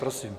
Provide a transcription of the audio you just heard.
Prosím.